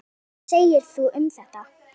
Hvað segir þú um þetta?